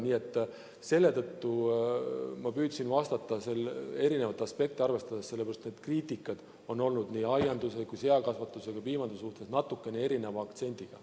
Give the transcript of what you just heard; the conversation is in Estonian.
Nii et seetõttu ma püüdsin vastata eri aspekte arvestades, sest kriitika on olnud nii aianduse, seakasvatuse kui ka piimanduse kohta natukene erineva aktsendiga.